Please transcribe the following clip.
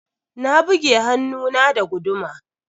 Na buge hannun na da guduma.